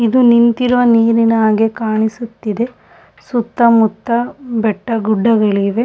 ಇದು ನಿಂತಿರುವ ನೀರಿನ ಹಾಗೆ ಕಾಣಿಸುತ್ತಿದೆ ಸುತ್ತಮುತ್ತ ಬೆಟ್ಟಗುಡ್ಡಗಳಿವೆ.